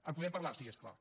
en podem parlar sí és clar